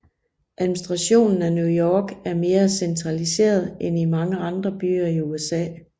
Administrationen af New York er mere centraliseret end i mange andre byer i USA